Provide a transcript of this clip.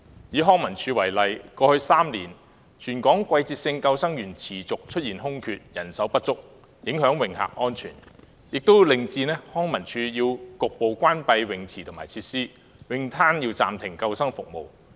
以康樂及文化事務署為例，過去3年，全港季節性救生員持續出現空缺和人手不足的情況，不但影響泳客安全，更令康文署須局部關閉泳池和有關設施，而泳灘亦須暫停提供救生服務。